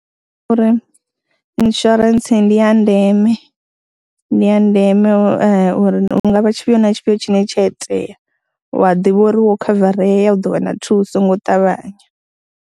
Uri insurance ndi ya ndeme, ndi ya ndeme uri hu nga vha tshifhio na tshifhio tshine tsha itea u a ḓivha uri wo khavarea u ḓo wana thuso ngo ṱavhanya.